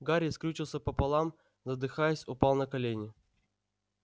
гарри скрючился пополам задыхаясь упал на колени